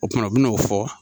O kuma u bi n'o fɔ.